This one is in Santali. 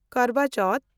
ᱠᱟᱨᱣᱟ ᱪᱚᱣᱛᱷ